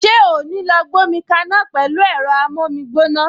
Ṣé o ò ní lọ gbómi kaná pẹ̀lú ẹ̀rọ amómígbóná!